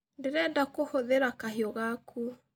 Ndĩrenda kũhũthĩra kahiũ gaku.